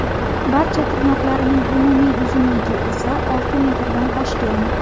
Barcha tirnoqlarining umumiy uzunligi esa olti metrdan oshgan.